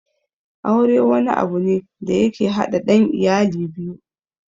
Aure wani abu ne da yake haɗa ɗan iyali biyu